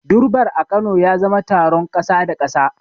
Durbar a Kano ya zama taron kasa da kasa.